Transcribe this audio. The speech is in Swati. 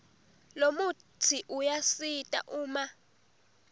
lomutsi uyasita uma